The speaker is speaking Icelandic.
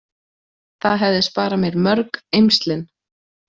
Það hefði sparað mér mörg eymslin.